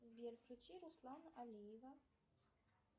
сбер включи руслана алиева